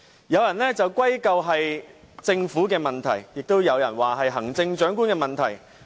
有人歸咎是政府的問題，亦有人說是行政長官的問題。